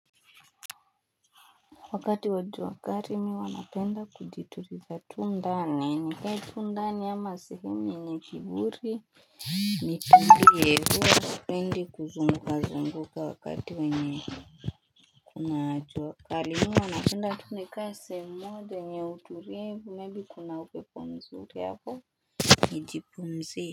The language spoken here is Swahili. Wakati wa jua kali mimi huwa napenda kujituliza Tundani. Hei tundani ama si hini ni kiburi. Ni tundi yehoa sipendi kuzunga zunguka wakati we nye kuna jua kali mihuwa napenda. Twende kaa sehemu moja yenye utulivu maybe kuna upepo mzuri hapo. Nijipumzi.